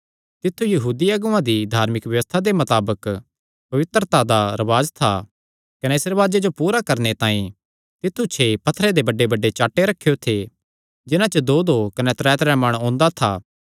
तित्थु यहूदी अगुआं दी धार्मिक व्यबस्था दे मताबक पवित्रता दा रिवाज था कने इस रिवाजे जो पूरा करणे तांई तित्थु छे पत्थरे दे बड्डेबड्डे चाट्टे रखेयो थे जिन्हां च दोदो कने त्रैत्रै मण ओंदा था